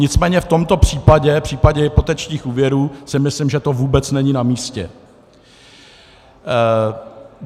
Nicméně v tomto případě, v případě hypotečních úvěrů, si myslím, že to vůbec není namístě.